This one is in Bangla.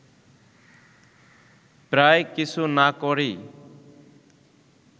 প্রায় কিছু না করেই